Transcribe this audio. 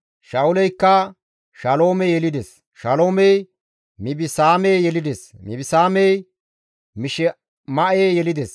Sha7uleykka Shaloome yelides; Shaloomey Mibisaame yelides; Mibisaamey Mishima7e yelides.